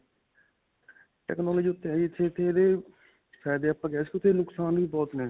technology ਇੱਥੇ ਇਹਦੇ ਫਾਇਦੇ ਆਪਾਂ ਕਿਹ ਸਕਦੇ ਹਾਂ ਇਸ ਦੇ ਨੁਕਸਾਨ ਵੀ ਬਹੁਤ ਨੇ.